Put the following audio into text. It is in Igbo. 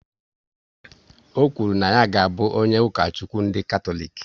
Ọ kwuru na ya ga abụ onye Ukochukwu ndị Katọlik